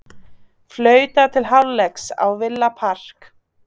Flautað til hálfleiks á Villa Park